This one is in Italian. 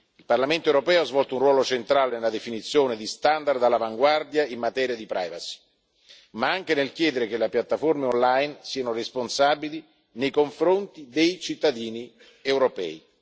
Il Parlamento europeo ha svolto un ruolo centrale nella definizione di standard all'avanguardia in materia di privacy, ma anche nel chiedere che le piatteforme online siano responsabili nei confronti dei cittadini europei.